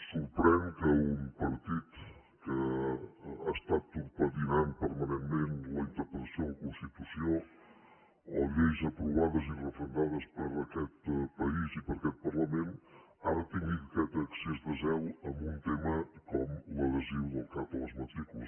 sorprèn que un partit que ha estat torpedinant permanentment la interpretació de la constitució o lleis aprovades i referendades per aquest país i per aquest parlament ara tingui aquest excés de zel en un tema com l’adhesiu del cat a les matrícules